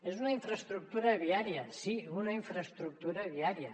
és una infraestructura viària sí una infraestructura viària